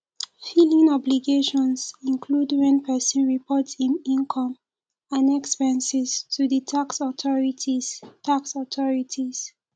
filing obligations include when person report im income and expenses to di tax authorities tax authorities